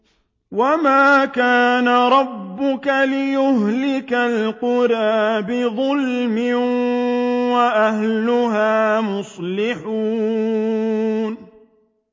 وَمَا كَانَ رَبُّكَ لِيُهْلِكَ الْقُرَىٰ بِظُلْمٍ وَأَهْلُهَا مُصْلِحُونَ